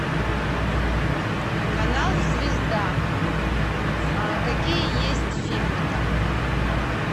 канал звезда какие есть фильмы там